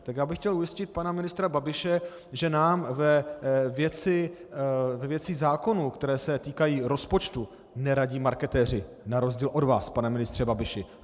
Tak já bych chtěl ujistit pana ministra Babiše, že nám ve věcech zákonů, které se týkají rozpočtu, neradí marketéři, na rozdíl od vás, pane ministře Babiši.